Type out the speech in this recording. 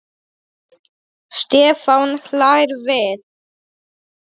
Stefán hlær við.